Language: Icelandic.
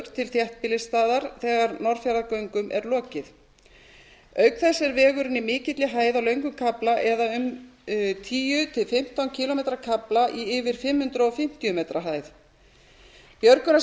til þéttbýlisstaðar þegar norðfjarðargöngum er lokið auk þess er vegurinn í mikilli hæð á löngum kafla eða á um tíu til fimmtán kílómetra kafla í yfir fimm hundruð fimmtíu metra hæð björgunarsveitir frá seyðisfirði og